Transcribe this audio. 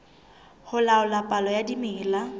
ho laola palo ya dimela